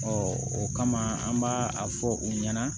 o kama an b'a a fɔ u ɲɛna